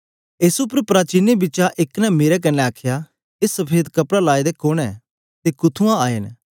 एस उपर प्राचीनें बिचा एक ने मेरे कन्ने आखया ए सफेद कपड़ा लाए दे कुन्न ऐ ते कुत्थुआं आए न